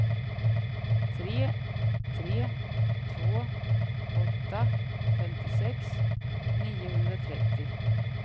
tre tre två åtta femtiosex niohundratrettio